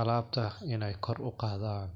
alabta in ay kor uqadhan.